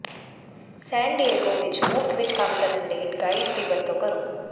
ਸੈਨ Diego ਵਿਚ ਮੁਫ਼ਤ ਵਿਚ ਕੰਮ ਕਰਨ ਲਈ ਗਾਈਡ ਦੀ ਵਰਤੋਂ ਕਰੋ